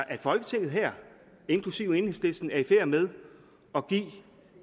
at folketinget her inklusive enhedslisten er i færd med at give